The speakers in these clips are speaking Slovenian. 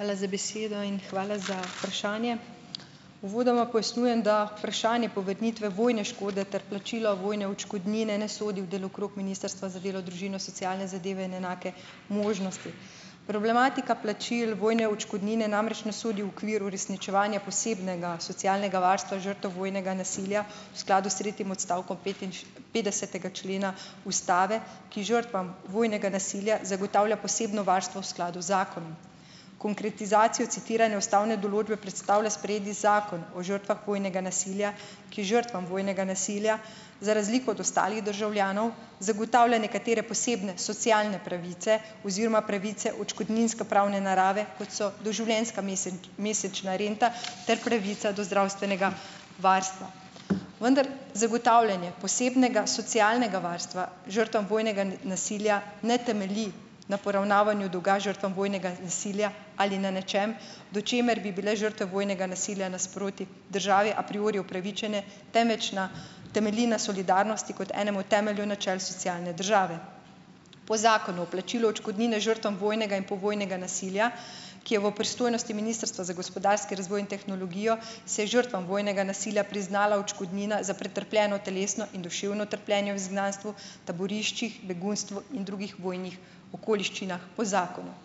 Hvala za besedo in hvala za vprašanje. Uvodoma pojasnjujem, da vprašanje povrnitve vojne škode ter plačilo vojne odškodnine ne sodi v delokrog Ministrstva za delo, družino, socialne zadeve in enake možnosti. Problematika plačil vojne odškodnine namreč ne sodi v okvir uresničevanja posebnega socialnega varstva žrtev vojnega nasilja v skladu s tretjim odstavkom petdesetega člena ustave, ki žrtvam vojnega nasilja zagotavlja posebno varstvo v skladu z zakonom. Konkretizacijo citiranja ustavne določbe predstavlja sprejeti zakon o žrtvah vojnega nasilja, ki žrtvam vojnega nasilja, za razliko od ostalih državljanov, zagotavlja nekatere posebne socialne pravice oziroma pravice odškodninskopravne narave, kot so doživljenjska mesečna renta ter pravica do zdravstvenega varstva. Vendar zagotavljanje posebnega socialnega varstva žrtvam vojnega ne, nasilja ne temelji na poravnavanju dolga žrtvam vojnega nasilja ali na nečem, do česar bi bile žrtve nasilja nasproti državi a priori upravičene vojnega, temveč na temelji na solidarnosti kot enemu temelju načel socialne države. Po zakonu o plačilu odškodnine žrtvam vojnega in povojnega nasilja, ki je v pristojnosti Ministrstva za gospodarski razvoj in tehnologijo, se je žrtvam vojnega nasilja priznala odškodnina za pretrpljeno telesno in duševno trpljenje v izgnanstvu, taboriščih, begunstvu in drugih vojnih okoliščinah po zakonu.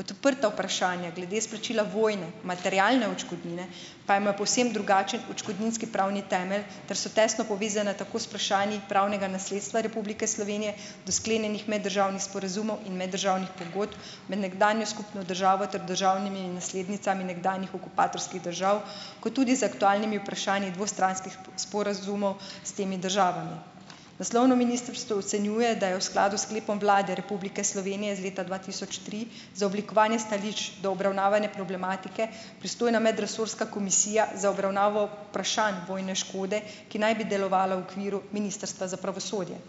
Odprta vprašanja glede izplačila vojne, materialne odškodnine, pa ima povsem drugačen odškodninski pravni temelj ter so tesno povezane tako z vprašanji pravnega nasledstva Republike Slovenije do sklenjenih meddržavnih sporazumov in meddržavnih pogodb med nekdanjo skupno državo ter državnimi naslednicami nekdanjih okupatorskih držav kot tudi z aktualnimi vprašanji dvostranskih sporazumov s temi državami. Naslovno ministrstvo ocenjuje, da je v skladu s sklepom Vlade Republike Slovenije iz leta dva tisoč tri za oblikovanje stališč do obravnavane problematike, pristojna medresorska komisija za obravnavo vprašanj vojne škode, ki naj bi delovala v okviru Ministrstva za pravosodje.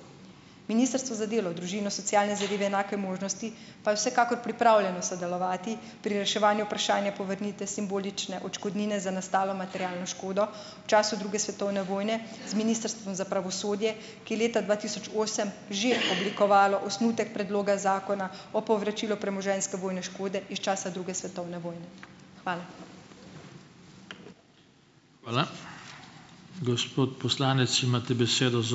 Ministrstvo za delo, družino, socialne zadeve, enake možnosti pa je vsekakor pripravljeno sodelovati pri reševanju vprašanja povrnitve simbolične odškodnine za nastalo materialno škodo, v času druge svetovne vojne z Ministrstvom za pravosodje, ki leta dva tisoč osem že oblikovalo osnutek predloga zakona o povračilu premoženjske vojne škode iz časa druge svetovne vojne. Hvala.